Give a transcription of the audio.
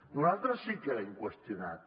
nosaltres sí que l’hem qüestionat